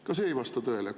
Ka see ei vasta tõele!